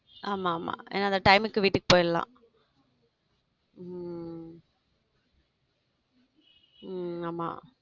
ஆமா ஆமா ஏன்னா அந்த time க்கு வீட்டுக்கு போயிடலாம் உம் உம் ஆமா